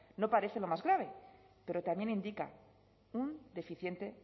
no parece lo más grave pero también indica un deficiente